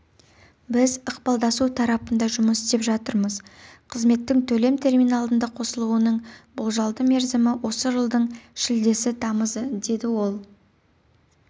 біз ықпалдасу тарапында жұмыс істеп жатырмыз қызметтің төлем терминалында қосылуының болжалды мерзімі осы жылдың шілдесі-тамызы деді ол